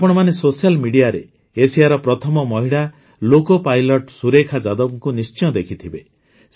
ଆପଣମାନେ ସୋସିଆଲ ମିଡ଼ିଆରେ ଏସିଆର ପ୍ରଥମ ମହିଳା ଲୋକୋ ପାଇଲଟ୍ ସୁରେଖା ଯାଦବଙ୍କୁ ନିଶ୍ଚୟ ଦେଖିଥିବେ